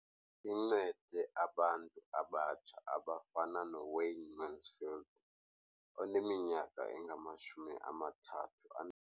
Incede abantu abatsha abafana noWayne Mansfield oneminyaka engama-30.